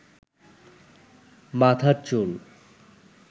মাথার চুল